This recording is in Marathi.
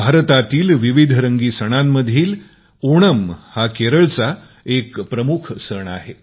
भारतातील विविधरंगी सणामधील एक ओणम केरळचा प्रमुख सण आहे